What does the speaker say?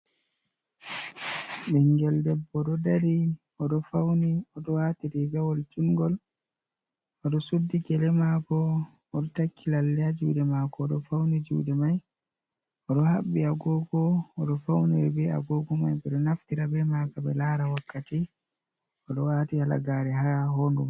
Ɓingel debbo oɗo dari oɗo fauni oɗo wati rigawol jungol oɗo suddi gele mako oɗo takki lalle ha juɗe mako odo fauni juɗe mai oɗo habbi agogo oɗo fauniri be agogo mai ɓeɗo naftira be maka ɓe lara wakkati oɗo wati halagare ha hondu.